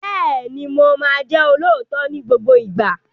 Bẹ́ẹ̀ni, mo máa jẹ́ olóòótọ́ ní gbogbo ìgbà.